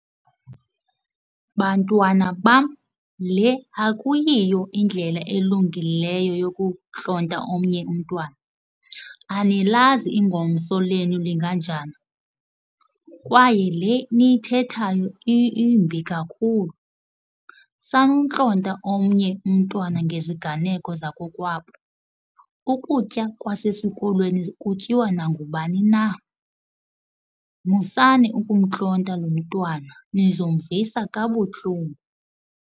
Bantwana bam, le akuyiyo indlela elungileyo yokuntlonta omnye umntwana, anilazi ingomso lenu linganjani kwaye le niyithethayo imbi kakhulu. Sanuntlonta omnye umntwana ngeziganeko zakokwabo. Ukutya kwasesikolweni kutyiwa nangubani na musani, ukumntlonta lo mntwana, nizomvisa kabuhlungu.